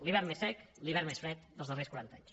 l’hivern més sec l’hivern més fred dels darrers quaranta anys